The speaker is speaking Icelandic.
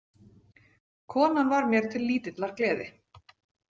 Konan var mér til lítillar gleði.